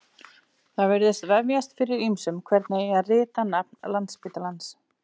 Það virðist vefjast fyrir ýmsum hvernig eigi að rita nafn Landspítalans.